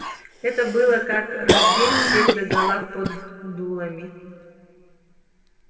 это было как раздеть всех догола под дулами